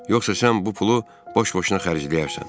Yoxsa sən bu pulu boş-boşuna xərcləyərsən?